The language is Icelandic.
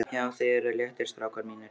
JÁ, ÞIÐ ERUÐ LÉTTIR, STRÁKAR MÍNIR!